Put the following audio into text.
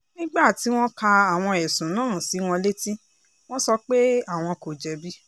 nígbà tí wọ́n ka àwọn ẹ̀sùn náà sí wọn létí wọ́n sọ pé àwọn kò jẹ̀bi